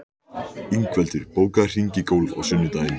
Ingveldur, bókaðu hring í golf á sunnudaginn.